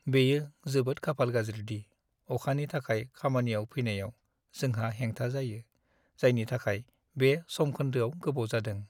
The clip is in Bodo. बेयो जोबोद खाफाल गाज्रि दि अखानि थाखाय खामानियाव फैनायाव जोंहा हेंथा जायो, जायनि थाखाय बे समखोन्दोआव गोबाव जादों।